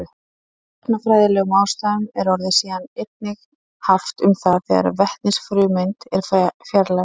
Af efnafræðilegum ástæðum er orðið síðan einnig haft um það þegar vetnisfrumeind er fjarlægð.